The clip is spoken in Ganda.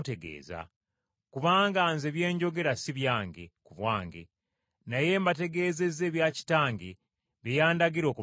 Kubanga Nze bye njogera si byange, ku bwange, naye mbategeezezza ebya Kitange bye yandagira okubategeeza.